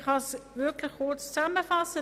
Ich kann es kurz zusammenfassen: